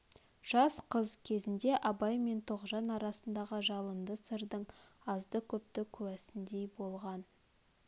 жас қыз кезінде абай мен тоғжан арасындағы жалынды сырдың азды-көпті куәсіндей болған